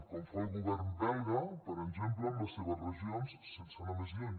com fa el govern belga per exemple amb les seves regions sense anar més lluny